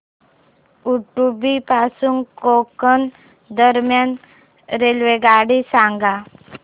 उडुपी पासून गोकर्ण दरम्यान रेल्वेगाडी सांगा